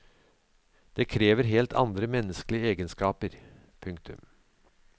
Det krever helt andre menneskelige egenskaper. punktum